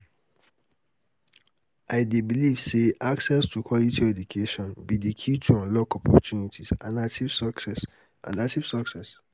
i dey believe say access to quality education be di key to unlock opportunities and achieve success. and achieve success.